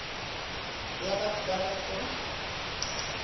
ya batho ba ba sa